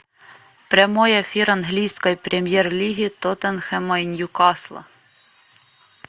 прямой эфир английской премьер лиги тоттенхэма и ньюкасла